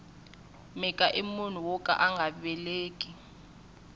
mhika i munhu woka anga veleki